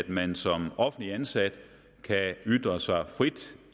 at man som offentligt ansat kan ytre sig frit